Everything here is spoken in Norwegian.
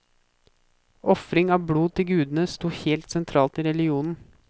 Ofring av blod til gudene sto helt sentralt i religionen.